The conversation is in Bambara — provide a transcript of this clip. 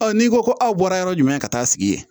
n'i ko ko aw bɔra yɔrɔ jumɛn ka taa sigi yen